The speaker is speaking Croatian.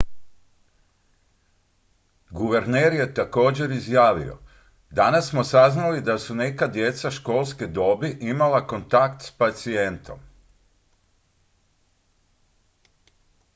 "guverner je također izjavio: "danas smo saznali da su neka djeca školske dobi imala kontakt s pacijentom"".